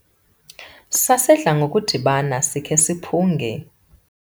sasidla ngokudibana sikhe siphunge